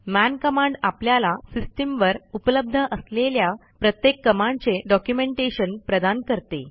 मन कमांड आपल्याला सिस्टीमवर उपलब्ध असलेल्या प्रत्येक कमांडचे डॉक्युमेंटेशन प्रदान करते